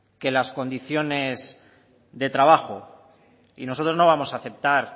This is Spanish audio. que las condiciones de trabajo y nosotros no vamos aceptar